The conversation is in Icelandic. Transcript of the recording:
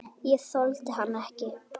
Ég þoldi hann ekki.